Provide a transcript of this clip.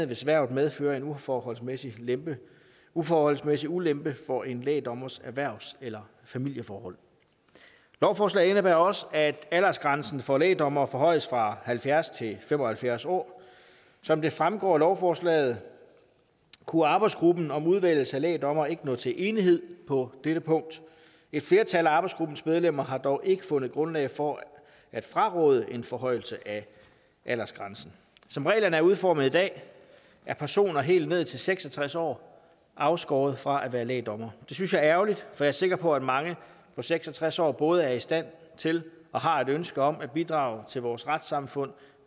hvis hvervet medfører en uforholdsmæssig ulempe uforholdsmæssig ulempe for en lægdommers erhvervs eller familieforhold lovforslaget indebærer også at aldersgrænsen for lægdommere forhøjes fra halvfjerds til fem og halvfjerds år som det fremgår af lovforslaget kunne arbejdsgruppen om udvælgelse af lægdommere ikke nå til enighed på dette punkt et flertal af arbejdsgruppens medlemmer har dog ikke fundet grundlag for at fraråde en forhøjelse af aldersgrænsen som reglerne er udformet i dag er personer helt ned til seks og tres år afskåret fra at være lægdommere det synes jeg er ærgerligt for jeg er sikker på at mange på seks og tres år både er i stand til og har et ønske om at bidrage til vores retssamfund